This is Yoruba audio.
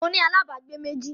Mo ní alábágbé méjì